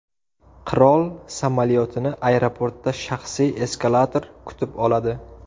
Qirol samolyotini aeroportda shaxsiy eskalator kutib oladi.